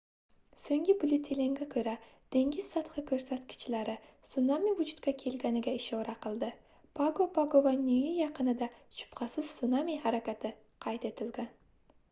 soʻngi byulletenga koʻra dengiz sathi koʻrsatkichlari sunami vujudga kelganiga ishora qildi pago pago va niue yaqinida shubhasiz sunami harakati qayd etilgan